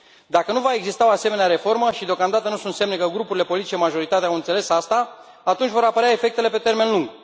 Dacă nu va exista o asemenea reformă, și deocamdată nu sunt semne că grupurile politice majoritare au înțeles asta, atunci vor apărea efectele pe termen lung.